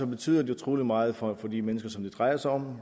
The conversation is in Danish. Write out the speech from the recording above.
betyder det utrolig meget for de mennesker som det drejer sig om